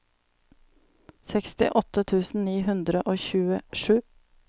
sekstiåtte tusen ni hundre og tjuesju